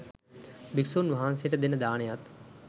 භික්ෂුන් වහන්සේට දෙන දානයත්